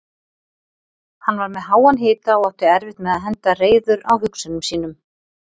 Hann var með háan hita og átti erfitt með að henda reiður á hugsunum sínum.